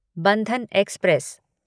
Bandhan express